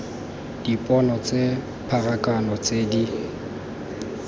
dipone tsa pharakano tse di